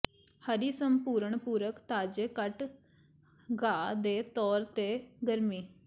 ਹਰੀ ਸੰਪੂਰਣ ਪੂਰਕ ਤਾਜ਼ੇ ਕੱਟ ਘਾਹ ਦੇ ਤੌਰ ਤੇ ਗਰਮੀ